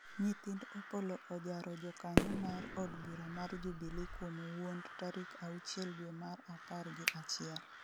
nyithind Opollo ojaro jokanyo mar od bura mar Jubilee kuom wuond tarik auchiel dwe mar apar gi achiel